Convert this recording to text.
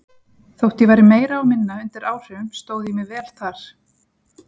Þótt ég væri meira og minna undir áhrifum stóð ég mig vel þar.